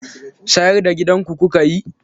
Sayar da gidanku kuka yi?